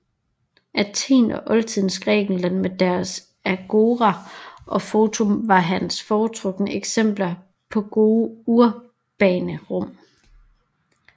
Athen og oldtidens Grækenland med deres agora og forum var hans foretrukne eksempler på gode urbane rum